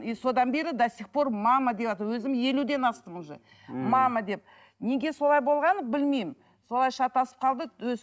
и содан бері до сих пор мама деватырмын өзім елуден астым уже мама деп неге солай болғанын білмеймін солай шатасып қалды өз